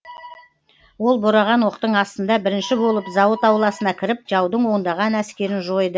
ол бораған оқтың астында бірінші болып зауыт ауласына кіріп жаудың ондаған әскерін жойды